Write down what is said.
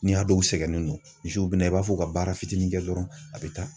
N'i y'a dɔn u sɛgɛnnen don misiw bɛna i b'a fɔ u ka baara fitinin kɛ dɔrɔn a bɛ taa.